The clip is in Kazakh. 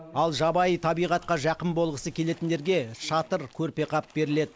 ал жабайы табиғатқа жақын болғысы келетіндерге шатыр көрпе қап беріледі